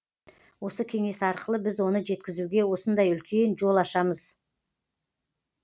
осы кеңес арқылы біз оны жеткізуге осындай үлкен жол ашамыз